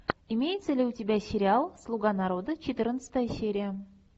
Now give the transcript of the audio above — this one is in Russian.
имеется ли у тебя сериал слуга народа четырнадцатая серия